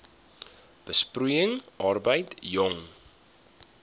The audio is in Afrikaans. besproeiing arbeid jong